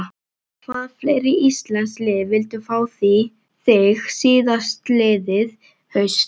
Hvaða fleiri íslensk lið vildu fá þig síðastliðið haust?